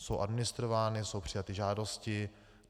Jsou administrovány, jsou přijaty žádosti.